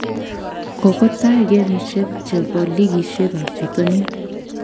Kogotai gemishek chebo ligiishek ab bitonin